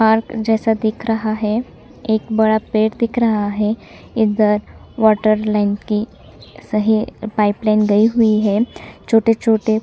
park जैसा दिख रहा है एक बड़ा पेड़ दिख रहा है इधर वाटर लाइन की सही पाइप लाइन गयी हुई है छोटे-छोटे--